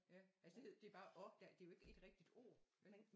Ja altså det hedder det er bare og der det er jo ikke et rigtigt ord vel